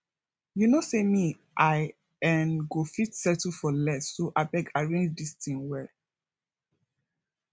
you no say me i um go fit settle for less so abeg arrange dis thing well